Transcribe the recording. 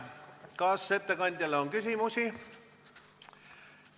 Kas ettekandjale on küsimusi?